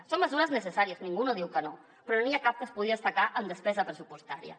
són mesures necessàries ningú no diu que no però no n’hi ha cap que es pugui destacar en despesa pressupostària